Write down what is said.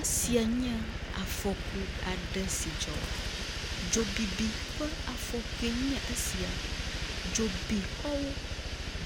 Esiae nye afɔku aɖe si dzɔ. Dzobibi ƒe afɔkue nye esia. Dzobi xɔwo,